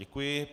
Děkuji.